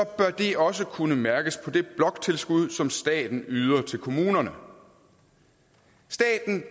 det også kunne mærkes på det bloktilskud som staten yder til kommunerne staten